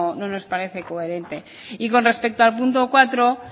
no nos parece coherentes y con respecto al punto cuatro